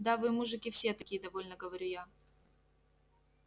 да вы мужики все такие довольно говорю я